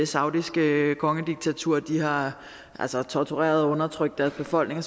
saudiske kongediktatur har tortureret og undertrykt deres befolkning